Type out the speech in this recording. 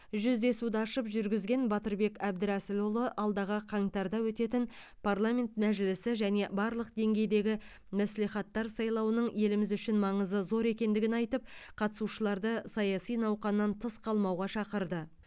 жүздесуді ашып жүргізген батырбек әбдірәсілұлы алдағы қаңтарда өтетін парламент мәжілісі және барлық деңгейдегі мәслихаттар сайлауының еліміз үшін маңызы зор екендігін айтып қатысушыларды саяси науқаннан тыс қалмауға шақырды